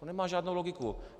To nemá žádnou logiku.